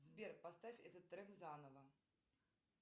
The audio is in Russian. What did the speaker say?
сбер поставь этот трек заново